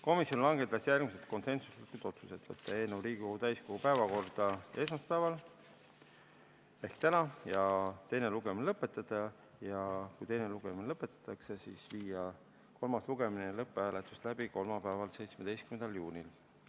Komisjon langetas järgmised konsensuslikud otsused: võtta eelnõu Riigikogu täiskogu päevakorda esmaspäeval ehk täna ja teine lugemine lõpetada ning kui teine lugemine lõpetatakse, siis viia kolmas lugemine ja lõpphääletus läbi kolmapäeval, 17. juunil.